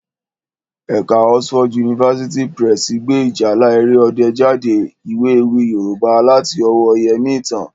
Ẹ̀ka Oxford University Press gbé Ìjálá Èrè Ọdẹ jáde, ìwé ewì Yorùbá láti ọwọ́ọ Yẹmítán